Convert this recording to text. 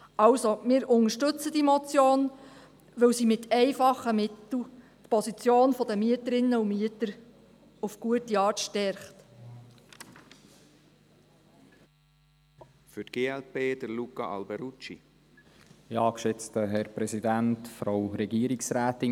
Wir unterstützen diese Motion, weil sie mit einfachen Mitteln die Position der Mieterinnen und Mieter in einer guten Art stärkt.